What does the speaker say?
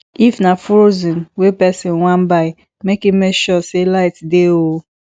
if na frozen wey persin wan buy make im make sure say light dey o